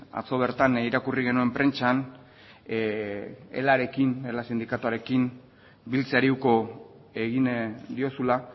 atzo bertan irakurri genuen prentsan elarekin ela sindikatuarekin biltzeari uko egin diozula